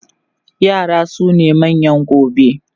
yara sune manyan gobe